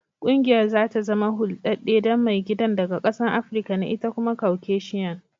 Kungiyar za ta zama huldade dan maigidan daga kasan Africa ne ita kuma Kaucasian.